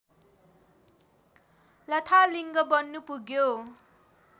लथालिङ्ग बन्न पुग्यो